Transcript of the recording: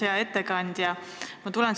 Hea ettekandja!